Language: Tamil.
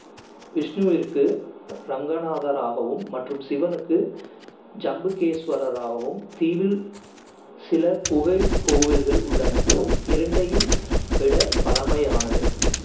விஷ்ணுவிற்கு ரங்கநாதராகவும், மற்றும் சிவனுக்கு ஜம்புகேஸ்வரராகவும் தீவில் சில குகைக் கோயில்கள் உள்ளன, இரண்டையும் விட பழமையானது.